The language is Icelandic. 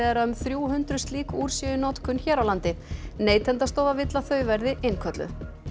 að um þrjú hundruð slík úr séu í notkun hér á landi Neytendastofa vill að þau verði innkölluð